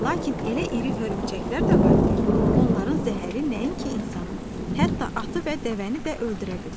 Lakin elə iri hörümçəklər də var ki, onların zəhəri nəinki insanı, hətta atı və dəvəni də öldürə bilir.